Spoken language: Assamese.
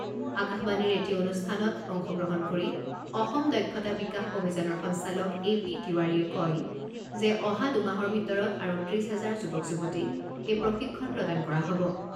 আকাশবাণীৰ এটি অনুষ্ঠানত অংশগ্ৰহণ কৰি অসম দক্ষতা বিকাশ অভিযানৰ সঞ্চালক এ পি তিৱাৰীয়ে কয় যে অহা দুমাহৰ ভিতৰত আৰু ত্ৰিছ হেজাৰ যুৱক যুৱতীক এই প্ৰশিক্ষণ প্ৰদান কৰা হ'ব।